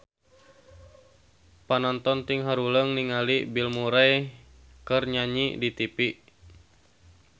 Panonton ting haruleng ningali Bill Murray keur nyanyi di tipi